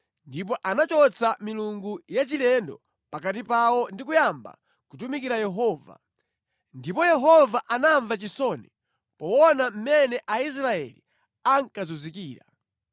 Ndipo anachotsa milungu ya chilendo pakati pawo ndi kuyamba kutumikira Yehova. Ndipo Yehova anamva chisoni poona mmene Aisraeli ankazunzikira.